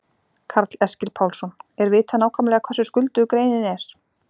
Karl Eskil Pálsson: Er vitað nákvæmlega hversu skuldug greinin er?